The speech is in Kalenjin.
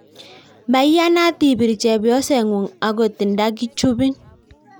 Maiyanat ibir chepyoseng'ung' agot nda kichupin